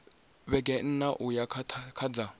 vhege nṋa uya kha dza